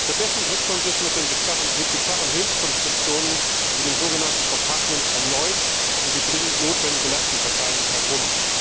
Stattdessen drückt man sich mit bizarren Hilfskonstruktionen wie den sogenannten Compartments erneut um die dringend notwendige Lastenverteilung herum.